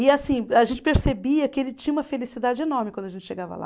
E assim, a gente percebia que ele tinha uma felicidade enorme quando a gente chegava lá.